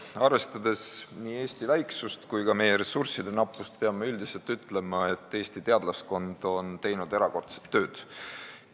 Arvestades nii Eesti väiksust kui ka meie ressursside nappust, peame üldiselt ütlema, et Eesti teadlaskond on teinud erakordset tööd.